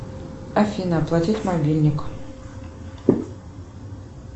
афина оплатить мобильник